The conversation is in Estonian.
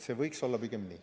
See võiks olla pigem nii.